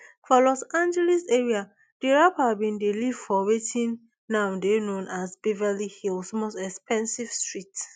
for los angeles area di rapper bin dey live for wetin now dey known as beverly hills most expensive street